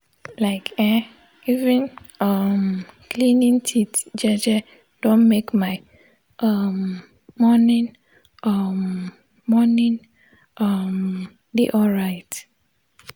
like[um]even um cleaning teeth jeje don make my um morning um morning um de alright